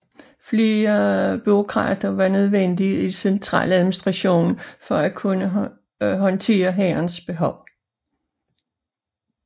Flere bureaukrater var nødvendige i centraladministrationen for at kunne håndtere hærens behov